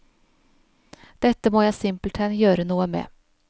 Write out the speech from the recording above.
Dette må jeg simpelthen gjøre noe med.